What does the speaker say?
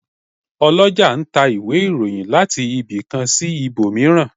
Olọjà n ta íwe-irohìn latí ibi kan si íbomirán